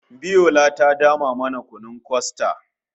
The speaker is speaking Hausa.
Biola ta dama mana kunun kostad